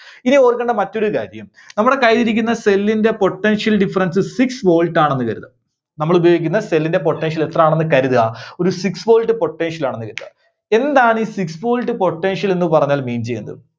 ഇനി ഓർക്കണ്ട മറ്റൊരു കാര്യം. നമ്മുടെ കൈയിൽ ഇരിക്കുന്ന cell ന്റെ potential difference six volt ആണെന്ന് കരുതുക. നമ്മളുപയോഗിക്കുന്ന cell ന്റെ potential എത്രാണെന്ന് കരുതുക, ഒരു six volt potential ആണെന്ന് കരുതുക. എന്താണ് ഈ six volt potential ന്നു പറഞ്ഞാൽ mean ചെയ്യുന്നത്?